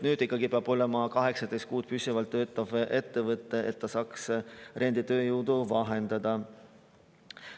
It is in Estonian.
Nüüd ikkagi peab olema 18 kuud püsivalt töötanud ettevõte, et ta saaks renditööjõudu vahendada.